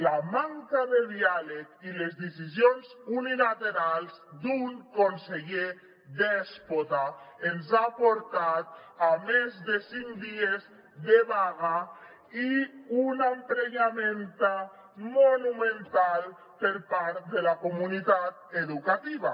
la manca de diàleg i les decisions unilaterals d’un conseller dèspota ens han portat a més de cinc dies de vaga i a un emprenyament monumental per part de la comunitat educativa